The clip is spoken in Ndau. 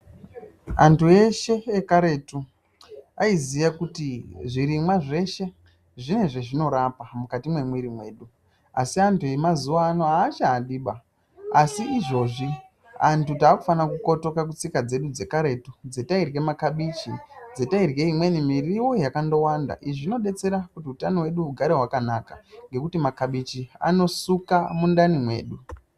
Antu eshe ekaretu ayiziya kuti zvirimwa zveshe zvine zvazvinorapa mukati memwiri medu asi antu emazuwaano achadiba, asi izvozvi antu taakufana kukotoka kutsika dzedu dzekaretu, dzatayirye makabichi, dzatayirye imweni miriwo yakandowanda, izvi zvinodetsera kuti utano hwedu hugare hwakanaka ngekuti makabichi anosuka mundani mwedu.